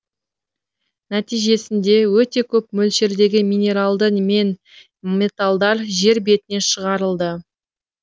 нәтижесінде өте көп мөлшердегі минералдар мен металдар жер бетіне шығарылды